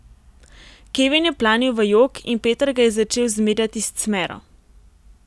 Kevin je planil v jok in Peter ga je začel zmerjati s cmero.